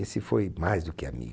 Esse foi mais do que amigo.